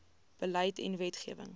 beleid en wetgewing